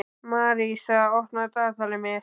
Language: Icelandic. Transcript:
Marísa, opnaðu dagatalið mitt.